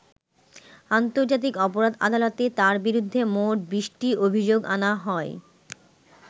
আন্তর্জাতিক অপরাধ আদালতে তাঁর বিরুদ্ধে মোট বিশটি অভিযোগ আনা হয়।